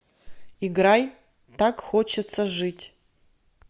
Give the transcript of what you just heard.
играй так хочется жить